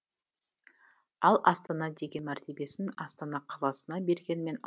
ал астана деген мәртебесін астана қаласына бергенімен